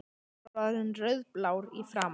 Hann var orðinn rauðblár í framan.